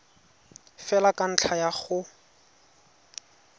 fela ka ntlha ya go